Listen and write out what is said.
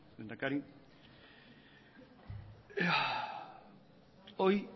lehendakari hoy